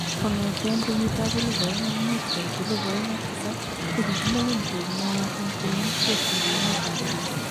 Kongeten kenyitab 2005 koit 2007 kokikilewen koek neon en bolisyeek en emet ab Burundi